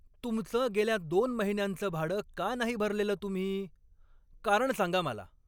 तुमचं गेल्या दोन महिन्यांचं भाडं का नाही भरलेलं तुम्ही? कारण सांगा मला.